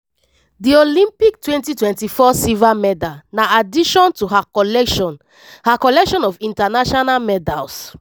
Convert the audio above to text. di olympic 2024 silver medal na addition to her collection her collection of international medals.